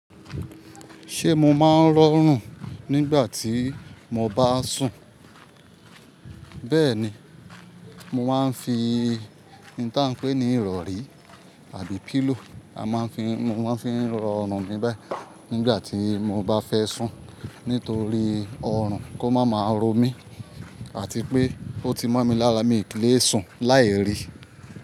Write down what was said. Ṣé mo máa ń rọrùn nígbà tí mo bá sùn? Bẹ́ẹ̀ ni, mo máa ń fi ohun tí a ń pè ní ìrọ̀rí àbí pillow, a máa ń fi, mo máa ń fi ń rọrùn mi báyìí. Nígbà tí mo bá fẹ́ sùn, nítorí ọrùn kó máa máa ro mí àti pé ó ti mó mi lára mi kì í lè sùn láì rí.